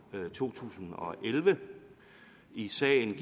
to tusind og elleve i sagen